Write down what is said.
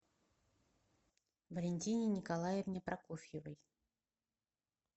валентине николаевне прокофьевой